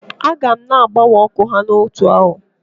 Aga m na-agbanwe ọkụ ya ma ọ nọọ otu arọ.